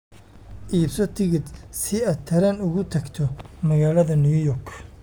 iibso tigidh si aad tareen ugu tagto magaalada new york